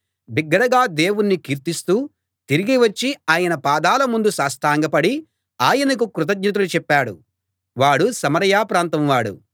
బిగ్గరగా దేవుణ్ణి కీర్తిస్తూ తిరిగి వచ్చి ఆయన పాదాల ముందు సాష్టాంగపడి ఆయనకు కృతజ్ఞతలు చెప్పాడు వాడు సమరయ ప్రాంతం వాడు